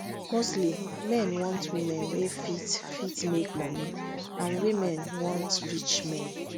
mostly men want women wey fit fit make money and women want rich men